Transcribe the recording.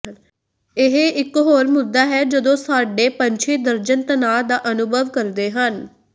ਇਹ ਇਕ ਹੋਰ ਮੁੱਦਾ ਹੈ ਜਦੋਂ ਸਾਡੇ ਪੰਛੀ ਦਰਜਨ ਤਣਾਅ ਦਾ ਅਨੁਭਵ ਕਰਦੇ ਹਨ